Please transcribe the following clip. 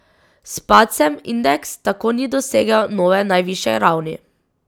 S padcem indeks tako ni dosegel nove najvišje ravni.